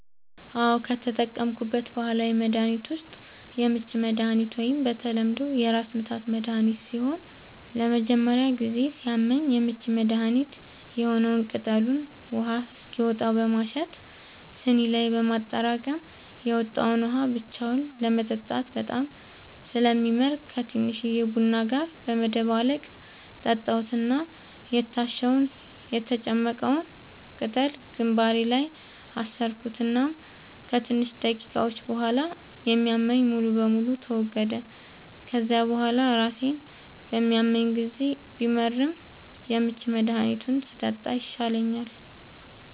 አዎ, ከተጠቀምኩት ባህላዊ መድሀኒት ዉስጥ የምች መድሃኒት ወይም በተለምዶ የራስምታት መድሀኒት ሲሆን ለመጀመሪያ ጊዜ ሲያመኝ የምች መድሀኒት የሆነዉን ቅጠሉን ውሃ እስኪወጣው በማሸት ስኒ ላይ በማጠራቀም የወጣዉን ውሃ ብቻውን ለመጠጣት በጣም ስለሚመር ከቲንሽዬ ቡና ጋር በመደባለቅ ጠጣሁት እና የታሸዉን (የተጨመቀዉን ፈ)ቅጠል ግንባሬ ላይ አሰርኩት እናም ከትንሽ ደቂቃዎች ቡሃላ የሚያመኝ ሙሉ በሙሉ ተወገደ፤ ከዚያ ቡሃላ ራሴን በሚያመኝ ጊዜ ቢመርም የምች መድሃኒቱን ስጠጣ ይሻለኛል።